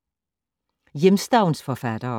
Hjemstavnsforfattere